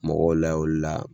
Mɔgɔ layɛ o la